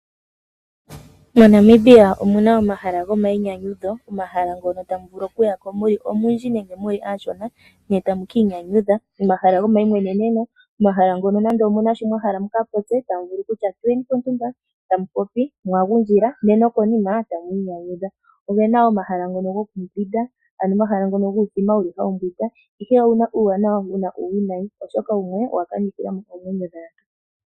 MoNamibia omu na omahala gomayinyanyudho, omahala ngono tamu vulu okuya ko mu li omundji nenge mu li aashona, ne tamu kiinyanyudha, omahala gomayimweneneno, omahala ngono nande omu na sho mwa hala mu ka popye, tamu vulu kutya tuyeni pontumba, tamu popi mwa gundjila, ne nokonima tamu inyanyudha. Oge na omahala ngono gokumbwinda, ano omahala ngono guuthima wu li hawu mbwindwa, ihe oge na uuwanawa, go ge na uuwinayi oshoka wumwe owa kanithila mo oomwenyo dhaantu.